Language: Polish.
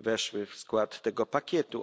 weszły w skład tego pakietu.